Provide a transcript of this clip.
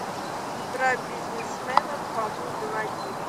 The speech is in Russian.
про бизнесмена фому заводи